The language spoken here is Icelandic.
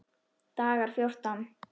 Dagar fjórtán